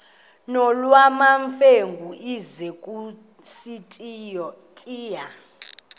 nolwamamfengu ize kusitiya